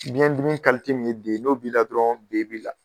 Biɲɛ dimi kalite min ye D n'o b'i la dɔrɔn B b'i la.